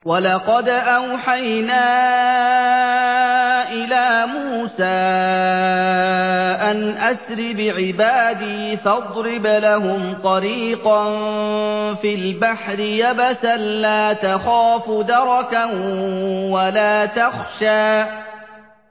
وَلَقَدْ أَوْحَيْنَا إِلَىٰ مُوسَىٰ أَنْ أَسْرِ بِعِبَادِي فَاضْرِبْ لَهُمْ طَرِيقًا فِي الْبَحْرِ يَبَسًا لَّا تَخَافُ دَرَكًا وَلَا تَخْشَىٰ